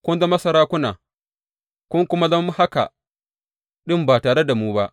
Kun zama sarakuna, kun kuma zama haka ɗin ba tare da mu ba!